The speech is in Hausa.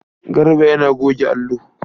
Garba yana goge allo.